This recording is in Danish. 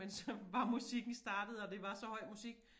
Men så var musikken startet og det var så høj musik